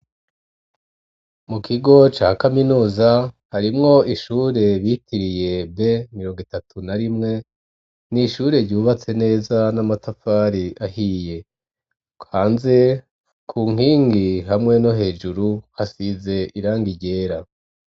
Mu kigo ca kaminuza harimwo ishure bitiriye b mirongo itatu na rimwe n'ishure ryubatse neza n'amatafari ahiye hanze ku nkingi hamwe no hejuru hasize irangi ryera.